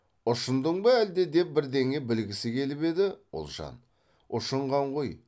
ұшындың ба әлде деп бірдеңе білгісі келіп еді ұлжан ұшынған ғой